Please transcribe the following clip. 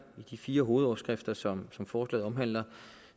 i de fire hovedoverskrifter som som forslaget omhandler